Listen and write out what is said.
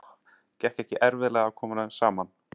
Gekk ekki erfiðlega að koma þeim saman?